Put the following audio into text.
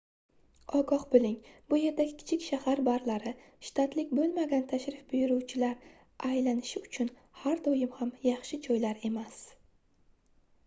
ogoh boʻling bu yerdagi kichik shahar barlari shtatlik boʻlmagan tashrif buyuruvchilar aylanishi uchun har doim ham yaxshi joylar emas